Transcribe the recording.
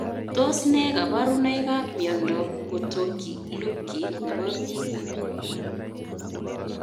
Tos ne kabarunoik ap miondoop Potocki Lupki nepo piik?